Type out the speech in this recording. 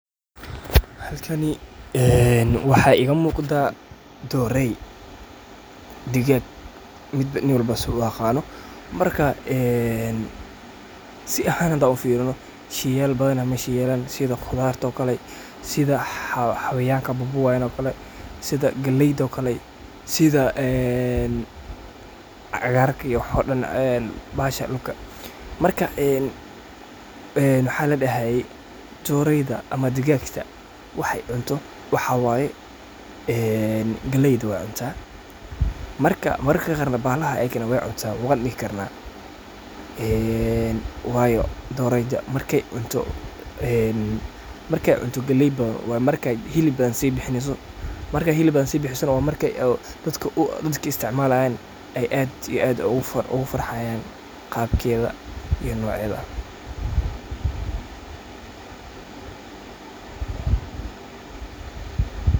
Halkani een waxaa iga muqdaa dorey digag nin walbo siduu u aqano markaa een si ahan hadaa ufirino shey yaal badan aa meshan yalan sida qudarto oo kale, sida xawayanka babuwayan oo kale, sida galeyda oo kale, sida een cagarka waxo Dan bahasha dulka marka een een waxaa ladahaye doreyda ama digagta waxey cunto waxaa waye een galeyda waa cuntaa mararka qaarna bahalaha ayakana wey cunan wan dihi karna een wayo doreyda marka ey cunto galey badan waa markey hilib sii bixineyso markas neh waa marka dadka iska leh ey isticmalayaan eey aad iyo aad ogu farxayaan qabkeyda iyo nocedaa.